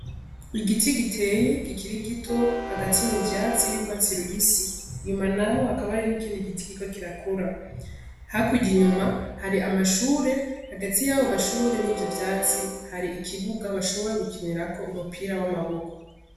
Igiti giteye gikiri gito hagati mu vyatsi birwatsirubisi inyuma, naho hakaba ari n'ikindi giti giko kirakura hakuja inyuma hari amashure hagati y'abo mashure n'ivyo vyatsi hari ikibuga bashobora gukinirako umupira w'amaboko.